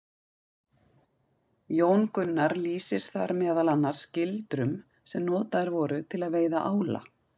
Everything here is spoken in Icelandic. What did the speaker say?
Jón Gunnar lýsir þar meðal annars gildrum sem notaðar voru til að veiða ála.